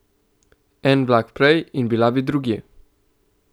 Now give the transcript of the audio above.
En vlak prej in bila bi drugje.